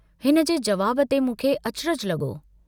हिनजे जवाब ते मूंखे अचरजु लगो।